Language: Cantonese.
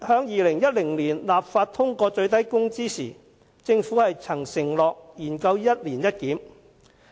2010年立法會通過《最低工資條例》時，政府曾承諾研究"一年一檢"。